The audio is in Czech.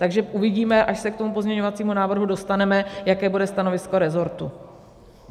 Takže uvidíme, až se k tomu pozměňovacímu návrhu dostaneme, jaké bude stanovisko resortu.